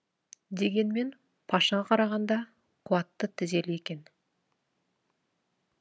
дегенмен пашаға қарағанда қуатты тізелі екен